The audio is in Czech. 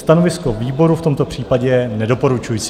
Stanovisko výboru v tomto případě je nedoporučující.